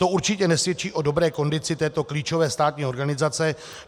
To určitě nesvědčí o dobré kondici této klíčové státní organizace.